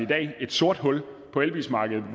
dag er et sort hul på elbilsmarkedet i